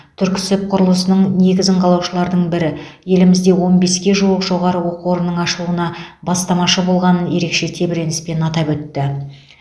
түрксіб құрылысының негізін қалаушылардың бірі елімізде он беске жуық жоғары оқу орнының ашылуына бастамашы болғанын ерекше тебіреніспен атап өтті